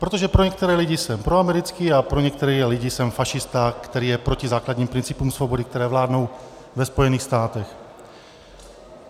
Protože pro některé lidi jsem proamerický a pro některé lidi jsem fašista, který je proti základním principům svobody, které vládnou ve Spojených státech.